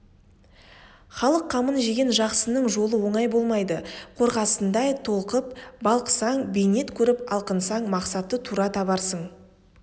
халық қамын жеген жақсының жолы оңай болмайды қорғасындай толқып балқысаң бейнет көріп алқынсаң мақсатты тура табарсың